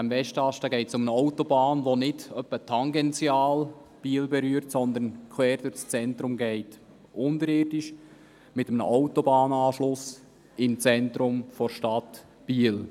Es geht um eine Autobahn, die nicht etwa tangential Biel berührt, sondern quer durchs Zentrum führt, unterirdisch, mit einem Autobahnanschluss im Zentrum der Stadt Biel.